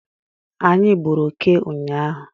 Anyị gburu oke ụnyaahụ